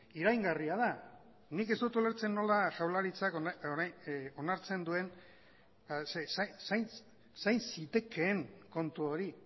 iraingarria da nik ez dut ulertzen nola jaurlaritzak onartzen duen zain zitekeen kontu hori